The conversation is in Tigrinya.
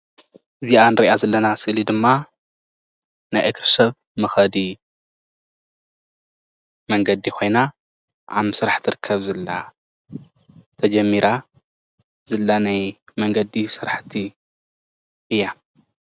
እዚኣ እንሪአ ዘለና ስእሊ ድማ ናይ እግሪ ሰብ መከዲ መንገዲ ኮይና ኣብ ምስራሕ ትርከብ ዘላ ተጀሚራ ዘላ ናይ መንገዲ ስራሕቲ እያ፡፡